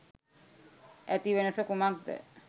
ඇති වෙනස කුමක්ද?